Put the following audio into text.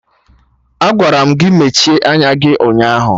Agwara m gị mechie anya gị ụnyaahụ!